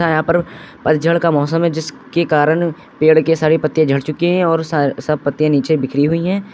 यहाँ पर पतझड़ का मौसम है जिसके कारण पेड़ के सारे पत्ते झड़ चुके हैं और सब पत्ते नीचे बिखरी हुई है।